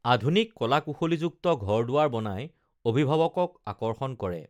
আধুনিক কলা কুশলীযুক্ত ঘৰ দু‌ৱাৰ বনাই অভিভা‌ৱকক আকৰ্ষণ কৰে